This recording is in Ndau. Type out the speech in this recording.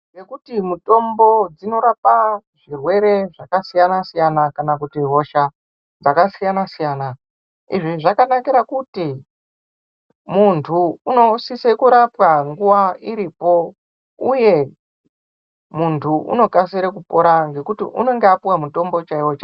Ngekuti mutombo dzinorapa zvirwere zvakasiyana-siyana kanakuti hosha dzakasiyana-siyana. Izvi zvakanakira kuti muntu unosise kurapwa nguva iripo uye muntu unokasire kupora ngekuti ungenge apuwa mutombo chaiwo-chaiwo.